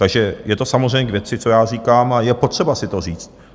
Takže je to samozřejmě k věci, co já říkám, a je potřeba si to říct.